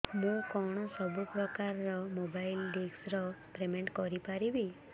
ମୁ କଣ ସବୁ ପ୍ରକାର ର ମୋବାଇଲ୍ ଡିସ୍ ର ପେମେଣ୍ଟ କରି ପାରିବି